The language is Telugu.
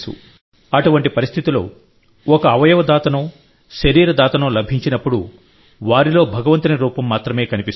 అటువంటి పరిస్థితిలోఒక అవయవ దాతనో శరీర దాతనో లభించినప్పుడు వారిలో భగవంతుని రూపం మాత్రమే కనిపిస్తుంది